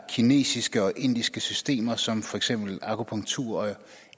kinesiske og indiske systemer som for eksempel akupunktur og